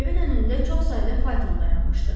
Evin önündə çox sayda fayton dayanmışdı.